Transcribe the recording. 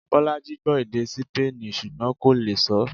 Bolaji gbọ́ èdè Sípéènì ṣùgbọ́n kò lè sọọ́